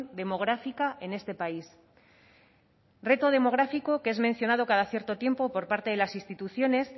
demográfica en este país reto demográfico que es mencionado cada cierto tiempo por parte de las instituciones